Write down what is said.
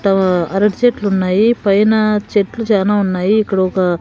తో అరటి చెట్లు ఉన్నాయి పైన చెట్లు చానా ఉన్నాయి ఇక్కడ ఒక.